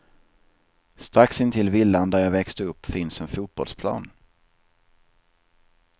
Strax intill villan där jag växte upp finns en fotbollsplan.